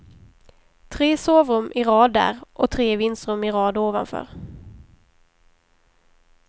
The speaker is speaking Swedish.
Tre sovrum i rad där, och tre vindsrum i rad ovanför.